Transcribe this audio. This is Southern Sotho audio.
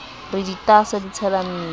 re ditaaso di tshela mmila